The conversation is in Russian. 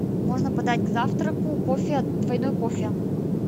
можно подать к завтраку кофе двойной кофе